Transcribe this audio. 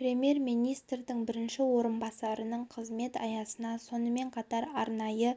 премьер-министрдің бірінші орынбасарының қызмет аясына сонымен қатар арнайы